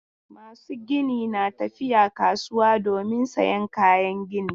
Masu gini na tafiya kasuwa domin sayan kayan gini.